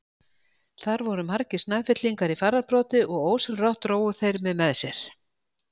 Þar voru margir Snæfellingar í fararbroddi og ósjálfrátt drógu þeir mig með sér.